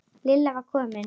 Lilla var komin.